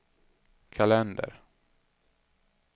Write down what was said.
kalender